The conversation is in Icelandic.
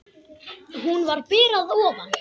Hún var ber að ofan.